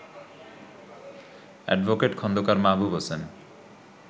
advocate Khandaker Mahbub Hossain